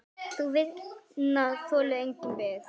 Sú vinna þolir enga bið.